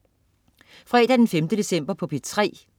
Fredag den 5. december - P3: